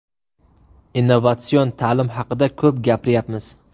Innovatsion ta’lim haqida ko‘p gapiryapmiz.